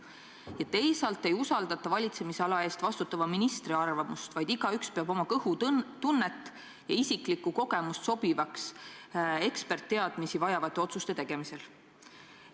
Ja teisalt ei usaldata valitsemisala eest vastutava ministri arvamust, vaid igaüks peab oma kõhutunnet ja isiklikku kogemust sobivaks eksperditeadmisi vajavate otsuste tegemisel.